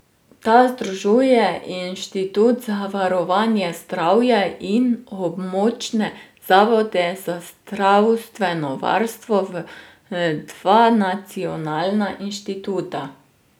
Ta združuje Inštitut za varovanje zdravja in območne zavode za zdravstveno varstvo v dva nacionalna inštituta.